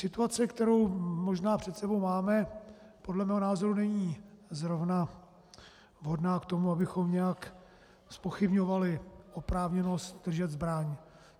Situace, kterou možná před sebou máme, podle mého názoru není zrovna vhodná k tomu, abychom nějak zpochybňovali oprávněnost držet zbraň.